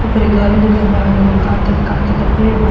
ऊपरी घरो दिखत बा एगो का त का त के पेड़ बा।